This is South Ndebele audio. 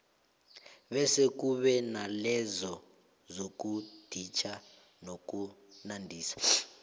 bese kube nalezo zokuditjha nokunandisa